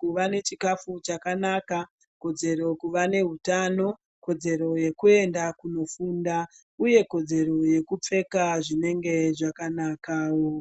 kuva nechikafu chakanaka kodzero kuva nehutano kodzero yekuenda kundofunda uye kodzero yekupfeka zvinenge zvakanakawo.